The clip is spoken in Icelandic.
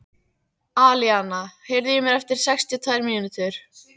Alíana, heyrðu í mér eftir sextíu og tvær mínútur.